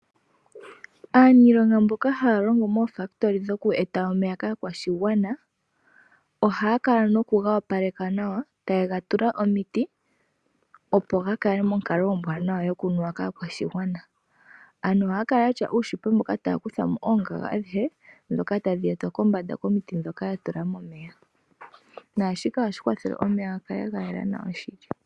Aaniilonga mboka haya longo moofakitoli dhoku eta omeya kaakwashigwana, ohaya kala nokuga opaleka nawa taye ga tula omiti, opo ga kale monkalo ombwaanawa yokunuwa kaakwashigwana. Ohaya kala ya tya uushipe mboka tawu kutha mo oongaga adhihe ndhoka tadhi etwa kombanda komiti ndhoka ya tula momeya. Shika ohashi kwathele omeya ga kale ga yela nawa shili.